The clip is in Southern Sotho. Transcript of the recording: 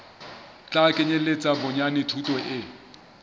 tla kenyeletsa bonyane thuto e